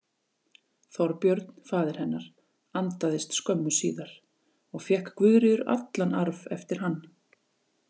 Þorbjörn, faðir hennar, andaðist skömmu síðar og fékk Guðríður allan arf eftir hann.